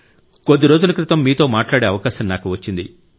కొద్ది రోజుల క్రితం మీతో మాట్లాడే అవకాశం నాకు వచ్చింది